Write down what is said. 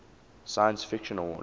science fiction awards